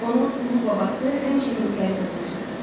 Onun ulu babası həmişə minkləri qırmışdı.